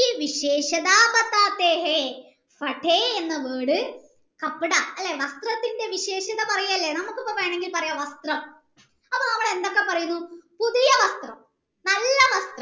എന്ന word അല്ലെ വസ്ത്രത്തിൻ്റെ വിശേഷത പറയല്ലേ നമ്മുക് വേണെങ്കിൽ പറയാം വസ്ത്രം അപ്പൊ നമ്മൾ എന്തൊക്കെ പറയുന്നു പുതിയ വസ്ത്രം നല്ല വസ്ത്രം